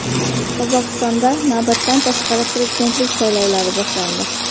Qozog‘istonda navbatdan tashqari prezidentlik saylovlari boshlandi.